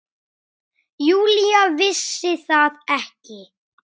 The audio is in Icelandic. Júlía vissi það ekki.